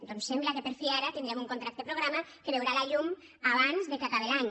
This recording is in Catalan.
doncs sembla que per fi ara tindrem un contracte programa que veurà la llum abans que acabe l’any